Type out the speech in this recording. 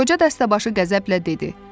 Qoca dəstəbaşı qəzəblə dedi.